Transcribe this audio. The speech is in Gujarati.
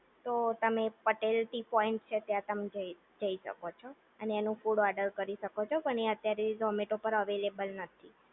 તો તમે પટેલ ટી પોઇન્ટ છે, ત્યાં તમે જય જય શકો. અને એનું ફૂડ ઓર્ડર કરી શકો છો, પણ એ અત્યારે ઝોમેટો પાર અવેલેબલ નથી.